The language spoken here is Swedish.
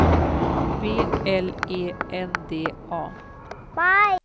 B L E N D A